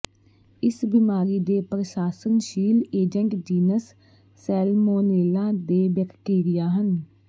ਇਸ ਬਿਮਾਰੀ ਦੇ ਪ੍ਰਾਸਣਸ਼ੀਲ ਏਜੰਟ ਜੀਨਸ ਸੈਲਮੋਨੇਲਾ ਦੇ ਬੈਕਟੀਰੀਆ ਹਨ